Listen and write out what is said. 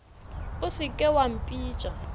o se ke wa mpitša